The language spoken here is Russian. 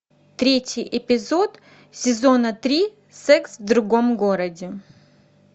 третий эпизод сезона три секс в другом городе